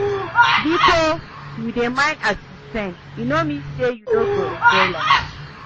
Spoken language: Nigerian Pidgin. Bikos yu dey mind as you spend, e no mean say yu no go enjoy life.